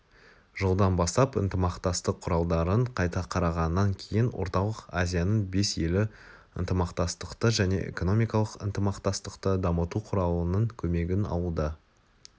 жылдан бастап ынтымақтастық құралдарын қайта қарағаннан кейін орталық азияның бес елі ынтымақтастықты және экономикалық ынтымақтастықты дамыту құралының көмегін алуда